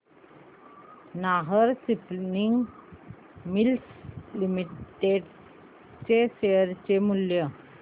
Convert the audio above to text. Nahar spinning mills limited चे share मूल्य